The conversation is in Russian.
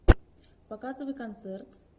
показывай концерт